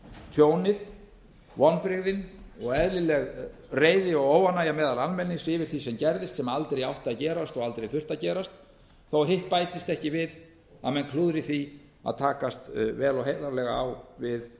tjónið vonbrigðin og eðlileg reiði og óánægja meðal almennings yfir því sem gerðist sem aldrei átti að gerast og aldrei þurfti að gerast þó hitt bætist ekki við að menn klúðri því að takast vel og heiðarlega á við